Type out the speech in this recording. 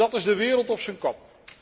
Dat is de wereld op zijn kop.